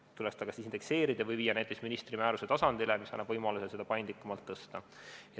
See tuleks kas indekseerida või viia näiteks ministri määruse tasandile, mis annaks võimaluse seda paindlikumalt tõsta.